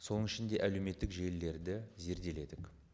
соның ішінде әлеуметтік желілерді зерделедік